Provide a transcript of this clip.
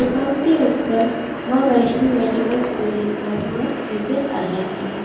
दुकान के ऊपर मां वैष्णो मेडिकल स्टोर लिखा हुआ नजर आ रहा है।